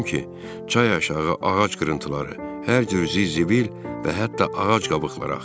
Gördüm ki, çayı aşağı ağac qırıntıları, hər cür ziz-zibil və hətta ağac qabıqları axır.